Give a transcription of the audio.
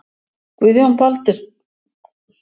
Guðjón Baldvinsson er ekki með Stjörnunni í dag.